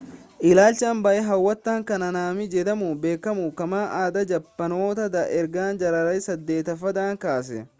ilaalcha baayee hawwataa kan haanaamii jedhamuun beekamu qaama aadaa jaappaanota dha erga jaarraa 8ffaadhaa kaase